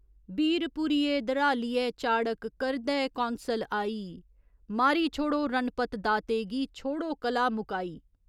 बीरपुरिये, द्रालिये चाड़क करदे कौंसल आई मारी छोड़ो रणपत दाते गी, छोड़ो कलह मुकाई।